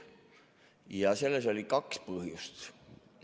Ja selleks oli kaks põhjust.